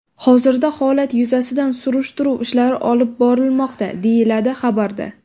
Hozirda holat yuzasidan surishtiruv ishlari olib borilmoqda”, deyiladi xabarda.